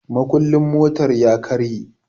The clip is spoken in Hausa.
mukulin motar ya karye